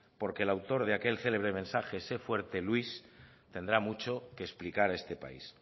porque el autor de aquel célebre mensaje sé fuerte luis tendrá mucho que explicar a este país